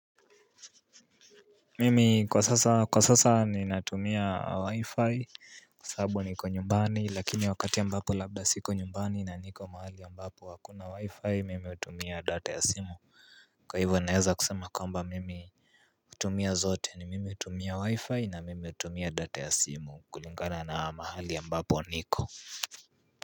Mimi kwa sasa kwa sasa ninatumia wi-fi kwa sababu niko nyumbani lakini wakati ambapo labda siko nyumbani na niko mahali ambapo hakuna wi-fi mimi hutumia data ya simu. Kwa hivyo naweza kusema kwamba mimi hutumia zote ni mimi hutumia wi-fi na mimi hutumia data ya simu kulingana na mahali ambapo niko.